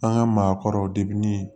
An ka maakɔrɔw